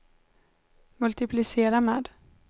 multiplicera med